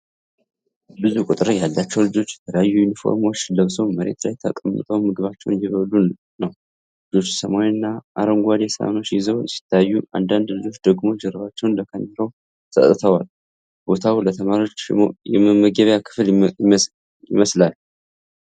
ብዙ ቁጥር ያላቸው ልጆች የተለያዩ ዩኒፎርሞችን ለብሰው መሬት ላይ ተቀምጠው ምግባቸውን እየበሉ ነው። ልጆቹ ሰማያዊና አረንጓዴ ሳህኖች ይዘው ሲታዩ፣ አንዳንድ ልጆች ደግሞ ጀርባቸውን ለካሜራው ሰጥተዋል። ቦታው ለተማሪዎች የመመገቢያ ክፍል ይመስላል።